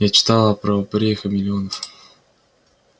я читала про упырей-хамелеонов